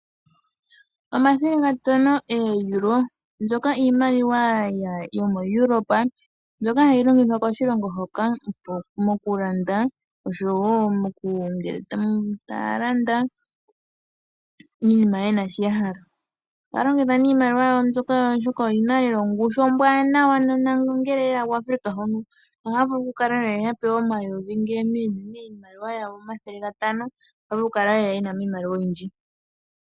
Omathele gatano go EURO, mbika iimaliwa yomo Europe, mbika iimaliwa ndjoka hayi longithwa ko Europe mokulanda oompumbwe dhawo niimaliwa mbika oyina ongushu lela onene kweelekanitha kiimaliwa iikwawo.